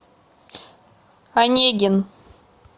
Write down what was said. онегин